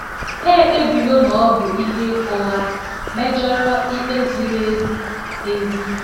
Ha ekpebiwo na ọ bụ ihe ụgha, mejọrọ ikpe ziri ezi. ezi.